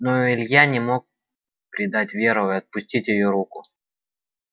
но илья не мог предать веру и отпустить её руку